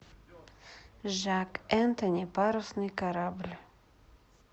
жак энтони парусный корабль